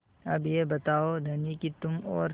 अब यह बताओ धनी कि तुम और